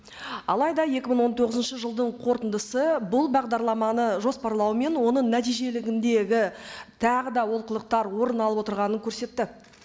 алайда екі мың он тоғызынщы жылдың қорытындысы бұл бағдарламаны жоспарлауы мен оның нәтижелігіндегі тағы да олқылықтар орын алып отырғанын көрсетті